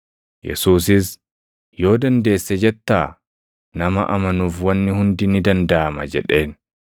Yesuusis, “ ‘Yoo dandeesse’ jettaa? Nama amanuuf wanni hundi ni dandaʼama” jedheen.